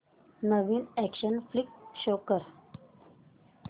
नवीन action flick show कर